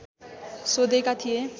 सोधेका थिए